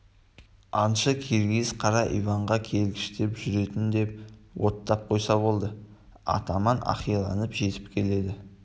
аңшы киргиз қара иванға келгіштеп жүретін деп оттап қойса болды атаман ақиланып жетіп келеді